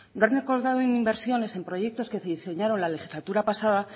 no han recortado en inversiones en proyectos que se diseñaron la legislatura pasada